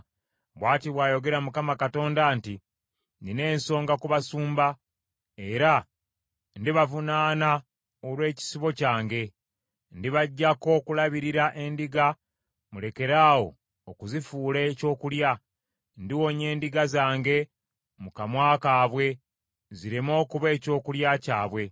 Bw’ati bw’ayogera Mukama Katonda nti, Nnina ensonga ku basumba, era ndibavunaana olw’ekisibo kyange. Ndibaggyako okulabirira endiga mulekeraawo okuzifuula ekyokulya. Ndiwonya endiga zange mu kamwa kaabwe, zireme okuba ekyokulya kyabwe.